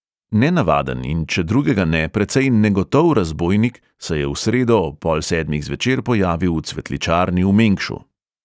Nenavaden in če drugega ne precej negotov razbojnik se je v sredo ob pol sedmih zvečer pojavil v cvetličarni v mengšu.